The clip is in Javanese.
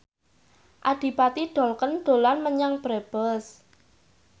Adipati Dolken dolan menyang Brebes